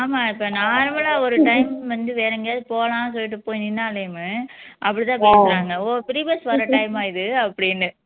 ஆமா இப்போ normal ஆ ஒரு time வந்து வேற எங்கேயாவது போகலாம்னு சொல்லிட்டு போயி நின்னாலேமே அப்படி தான் பேசுறாங்க ஓ free bus வர்ற time ஆ இது